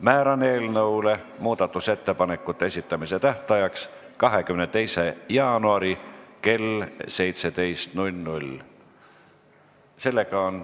Määran eelnõu muudatusettepanekute esitamise tähtajaks 22. jaanuari kell 17.